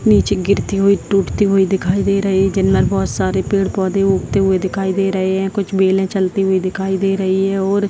नीचे गिरती हुई टूटती हुई दिखाई दे रही है जिनमें बहुत सारी पेड़-पौधे उगती हुई दिखाई दे रहे हैं कुछ बैले चलते हुए दिखाई दे रही है और --